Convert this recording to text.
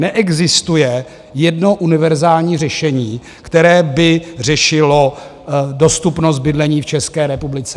Neexistuje jedno univerzální řešení, které by řešilo dostupnost bydlení v České republice.